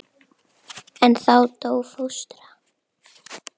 En þá dó fóstra.